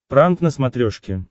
пранк на смотрешке